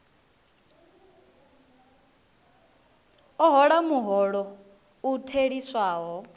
a hola muholo u theliswaho